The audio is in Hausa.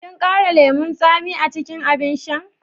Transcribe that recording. Kin ƙara lemun tsami a cikin abin shan?